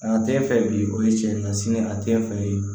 A tɛ fɛ bi o ye tiɲɛ sini a tɛ fɛ